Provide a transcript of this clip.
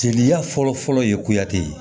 Jeliya fɔlɔfɔlɔ ye kuyate